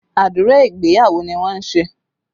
Àdúrà ìgbéyàwó ni wọ́n ń ṣe